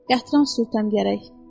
Gətirən sürütəm gərək.